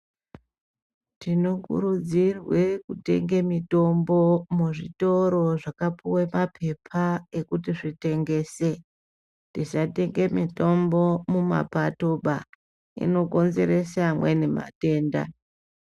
Tinokurudzirwe kutenge mitombo muzvitorozvakapuwe papepaekuti zvitengèse tisatenge mitombo mumapato bah inokonzera zvimweni zvitenda.